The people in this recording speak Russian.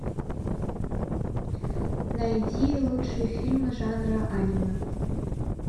найди лучшие фильмы жанра аниме